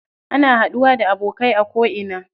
Ana haɗuwa da abokai a ko ina.